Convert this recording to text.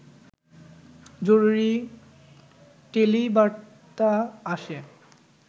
জরুরি টেলিবার্তা আসে